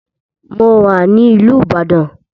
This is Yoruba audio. Mo wà ní ìlú ìbàdàn.